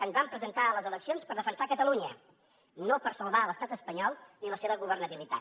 ens vam presentar a les eleccions per defensar catalunya no per salvar l’estat espanyol ni la seva governabilitat